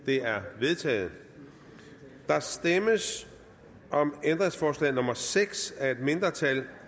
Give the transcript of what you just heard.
det er vedtaget der stemmes om ændringsforslag nummer seks af et mindretal